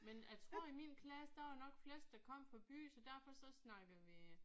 Men jeg tror i min klasse der var nok flest der kom fra byen så derfor så snakkede vi